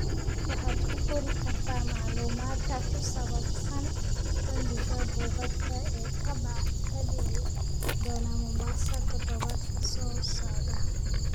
waxaad ku qori kartaa macluumaadka ku saabsan bandhigga buugaagta ee ka dhici doona mombasa toddobaadka soo socda